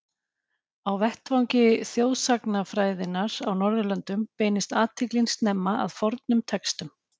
Á vettvangi þjóðsagnafræðinnar á Norðurlöndum beindist athyglin snemma að fornum textum.